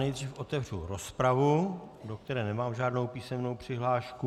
Nejdřív otevřu rozpravu, do které nemám žádnou písemnou přihlášku.